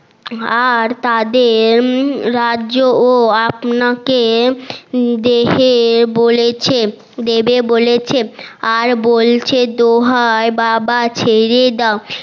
আর তাদের রাজ্য ও আপনাকে দেহে বলেছে দেবে বলেছে আর বলছে দোহায় বাবা ছেড়ে দাও